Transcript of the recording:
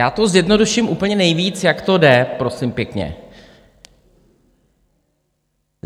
Já to zjednoduším úplně nejvíc, jak to jde, prosím pěkně.